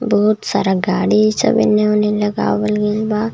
बहुत सारा गाड़ी सब एने ओने लगावल गइल बा.